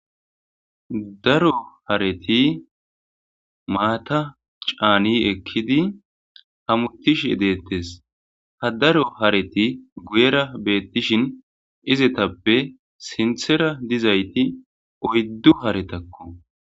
Daro hareti maata caani ekkidi hametishe deetees. Ha daro hareti guyera beetishin,izetappe sinthera dizay oyddu haretako.